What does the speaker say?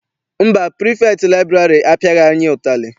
Mba, pirifektị liburary apiaghi anyị ụtarị.